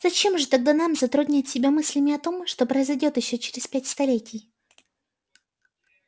зачем же тогда нам затруднять себя мыслями о том что произойдёт ещё через пять столетий